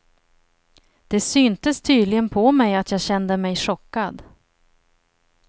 Det syntes tydligen på mig att jag kände mig chockad.